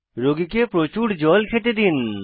রোগীকে প্রচুর জল খেতে দিন